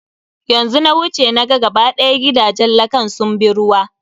Yanzu na wuce, na ga ga ba ɗaya gidajen lakan sun bi ruwa.